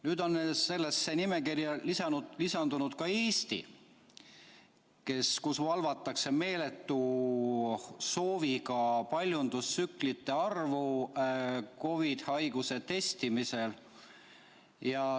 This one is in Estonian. Nüüd on sellesse nimekirja lisandunud ka Eesti, kus on meeletu soov valvata paljundustsüklite arvu COVID‑haiguse testimisel.